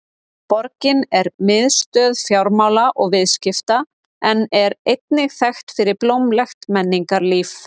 Borgin er miðstöð fjármála og viðskipta en er einnig þekkt fyrir blómlegt menningarlíf.